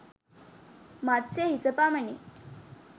මත්ස්‍ය හිස පමණි.